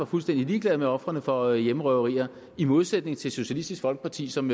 fuldstændig ligeglade med ofrene for hjemmerøverier i modsætning til socialistisk folkeparti som